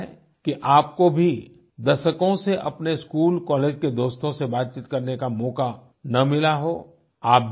हो सकता है कि आपको भी दशकों से अपने स्कूल कॉलेज के दोस्तों से बात करने का मौका ना मिला हो